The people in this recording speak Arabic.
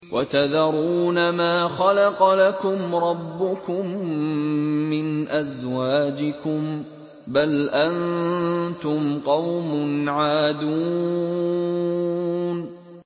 وَتَذَرُونَ مَا خَلَقَ لَكُمْ رَبُّكُم مِّنْ أَزْوَاجِكُم ۚ بَلْ أَنتُمْ قَوْمٌ عَادُونَ